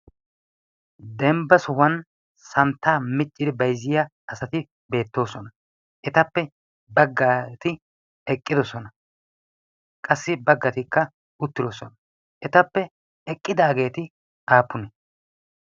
dembba sohuwan santtaa micciri baizziya asati beettoosona etappe baggaati eqqidosona qassi baggatikka uttidosona etappe eqqidaageeti aapune